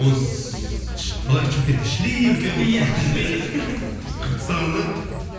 оны қалай шымкентте шіли үлкен қылып қылып тастаған да